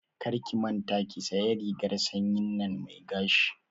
Karki manta ki sanya rigar sanyin nan mai gashi